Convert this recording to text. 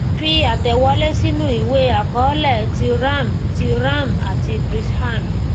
fi àtẹwọlé sínú ìwé àkọọlẹ ti ram ti ram àti krishan